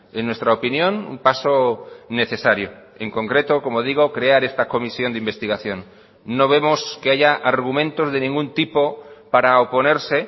en nuestra opinión un paso necesario en concreto como digo crear esta comisión de investigación no vemos que haya argumentos de ningún tipo para oponerse